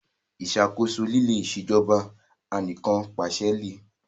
Ìṣàkóso líle Ìṣèjọba Anìkànpàṣẹ le